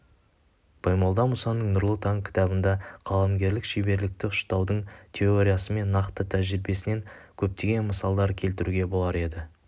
баймолда мұсаның нұрлы таң кітабында қаламгерлік шеберлікті ұштаудың теориясы мен нақты тәжірбиесінен көптеген мысалдар келтіруге болар еді